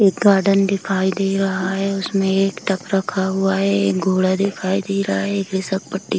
एक गार्डन दिखाई दे रहा है। उसमे एक टब रखा हुआ है। एक घोड़ा दिखाई दे रहा है। एक फिसल पट्टी --